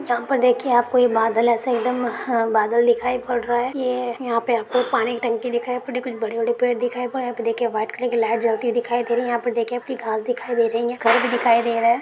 यहाँ पर देखिये आपको बादल ऐसे एकदम हअ बादल दिखाई पड रहे है ये यहाँ पे आपको पानी की टंकी दिखाई पड़ रही कुछ बड़े-बड़े पेड दिखाई पड रहे है यहाँ पे देखिये वाइट कलर की लाइट जलती हुई देखाई दे रही है यहाँ पर देखिये पि घास दिखाई दे रही है घर भी दिखियो दे रहा है।